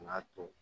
N'a to